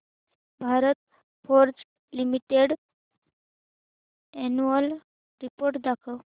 Bharat Forge limited annual report दाखव